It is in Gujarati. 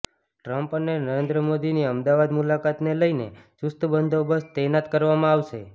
ટ્રમ્પ અને નરેન્દ્ર મોદીની અમદાવાદ મુલાકાતને લઈને ચુસ્ત બંદોબસ્ત તૈનાત કરવામાં આવશે